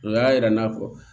O y'a yira n'a fɔ